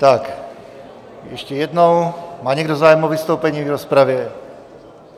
Tak ještě jednou, má někdo zájem o vystoupení v rozpravě?